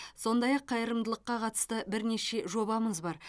сондай ақ қайырымдылыққа қатысты бірнеше жобамыз бар